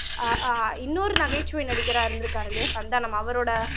ஆஹ் அஹ் இன்னொரு நகைச்சுவை நடிகரா இருந்திருக்காரு இல்லையா சந்தானம் அவரோட